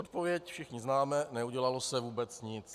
Odpověď všichni známe - neudělalo se vůbec nic.